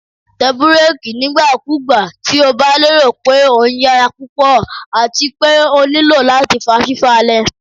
Tẹ bureki nigbakugba ti o ba lero pe o nyara pupọ ati pe o nilo lati fa fifalẹ